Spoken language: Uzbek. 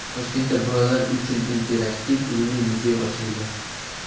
Toshkentda bolalar uchun interaktiv ilmiy muzey ochildi.